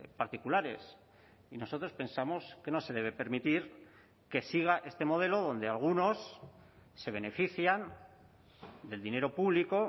particulares y nosotros pensamos que no se debe permitir que siga este modelo donde algunos se benefician del dinero público